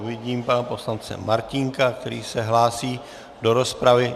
Vidím pana poslance Martínka, který se hlásí do rozpravy.